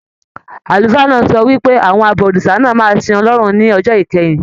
Àlùfáà náà sọ wípé, Àwọn abọ̀rìṣà náà máa sìn Ọlọ́run ní ọjọ́ ìkẹyìn.